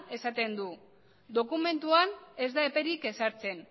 esaten du dokumentuan ez da eperik ezartzen